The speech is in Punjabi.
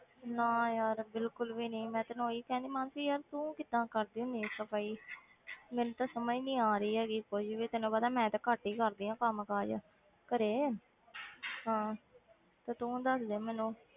ਨਾ ਯਾਰ ਬਿਲਕੁਲ ਵੀ ਨੀ ਮੈਂ ਤੈਨੂੰ ਉਹੀ ਕਹਿੰਦੀ ਮਾਨਸੀ ਯਾਰ ਤੂੰ ਕਿੱਦਾਂ ਕਰਦੀ ਹੁੰਦੀ ਆਂ ਸਫ਼ਾਈ ਮੈਨੂੰ ਤਾਂ ਸਮਝ ਨੀ ਆ ਰਹੀ ਕੋਈ ਵੀ ਤੈਨੂੰ ਪਤਾ ਮੈਂ ਤੇ ਘੱਟ ਹੀ ਕਰਦੀ ਹਾਂ ਕੰਮ ਕਾਜ ਘਰੇ ਹਾਂ ਤੇ ਤੂੰ ਦੱਸਦੇ ਮੈਨੂੰ।